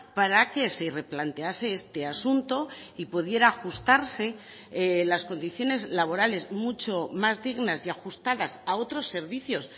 para que se replantease este asunto y pudiera ajustarse las condiciones laborales mucho más dignas y ajustadas a otros servicios